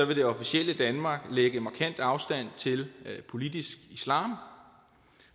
det officielle danmark lægge markant afstand til politisk islam